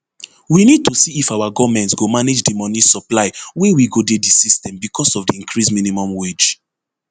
we need to see if our goment go manage di money supply wey go dey di system becos of di increased minimum wage